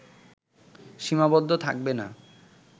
সীমাবদ্ধ থাকবে না